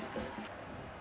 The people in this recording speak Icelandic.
og